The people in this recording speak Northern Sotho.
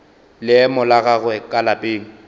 leemo la gagwe ka lapeng